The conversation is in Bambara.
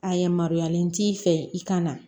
A yamaruyalen t'i fɛ i ka na